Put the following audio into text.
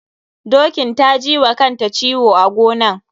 Dokin ta ji wa kanta ciwo a gonan.